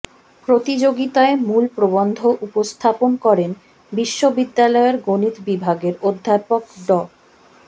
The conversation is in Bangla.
প্রতিযোগিতায় মূল প্রবন্ধ উপস্থাপন করেন বিশ্ববিদ্যালয়ের গণিত বিভাগের অধ্যাপক ড